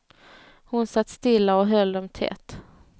Hon satt stilla och höll dem tätt.